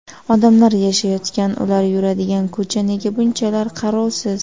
Odamlar yashayotgan, ular yuradigan ko‘cha nega bunchalar qarovsiz?